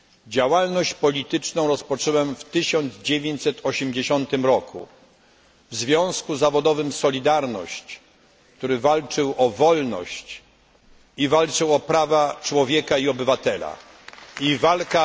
Działalność polityczną rozpocząłem w 1980 roku w związku zawodowym Solidarność, który walczył o wolność i walczył o prawa człowieka i obywatela Walka